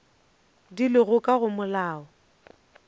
di lego ka go molao